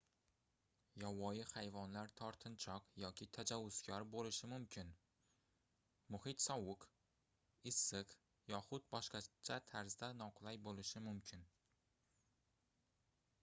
yovvoyi hayvonlar tortinchoq yoki tajovuzkor boʻlishi mumkin muhit sovuq issiq yoxud boshqacha tarzda noqulay boʻlishi mumkin